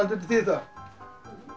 þetta þýði það